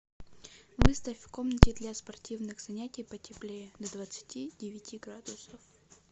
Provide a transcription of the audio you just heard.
выставь в комнате для спортивных занятий потеплее до двадцати девяти градусов